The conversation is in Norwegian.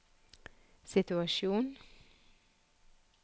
situasjon